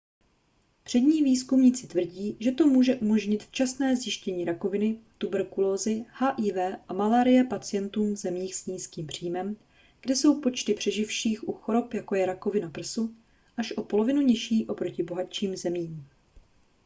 přední výzkumníci tvrdí že to může umožnit včasné zjištění rakoviny tuberkulózy hiv a malárie pacientům v zemích s nízkým příjmem kde jsou počty přeživších u chorob jako je rakovina prsu až o polovinu nižší oproti bohatším zemím